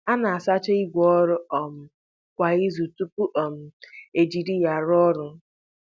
A na-asacha ìgwè ọrụ um kwa izu tupu um e jiri ha rụọ ọrụ.